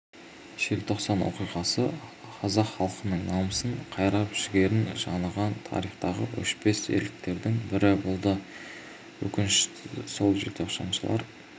желтоқсан оқиғасы қазақ халқының намысын қайрап жігерін жаныған тарихтағы өшпес ерліктердің бірі болды өкініштісі сол желтоқсаншылар